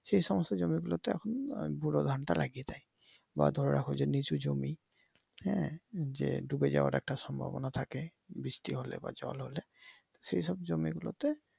সে সমস্ত জমি গুলোতে ব্যুরো ধান লাগিয়ে দেয় বা ধরে রাখো যে নিচু জমি হ্যা ডুবে যাওয়ার একটা সম্ভবনা থাকে বৃষ্টি হলে বা জল হলে সেসব জমি গুলোতে